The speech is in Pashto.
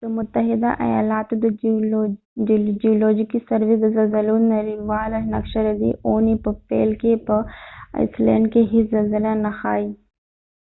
د متحده ایالاتو د جیولوجیکي سروي د زلزلو نړیواله نقشه ددې اوونی په پیل کې په ایسلینډ کې هیڅ زلزله نه ښایې